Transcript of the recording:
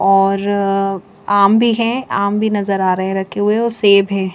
और आम भी है आम भी नजर आ रहे है रखे हुए और सेब है।